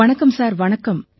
வணக்கம் சார் வணக்கம்